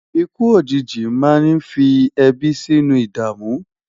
ikú òjìji má ní fí ebi sínú idamu